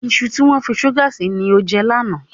Iṣu tí wọ́n fi ṣúgà sí ni o jẹ lánàá.